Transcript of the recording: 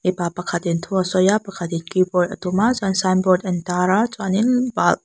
mipa pakhatin thu sawi a pakhatin kibawrd a tum a chuan sainbawrd an tar a chuanin pa --